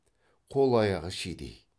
қол аяғы шидей